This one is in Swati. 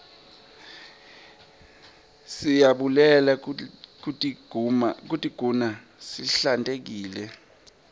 siyabulele kutiguna sihlantekile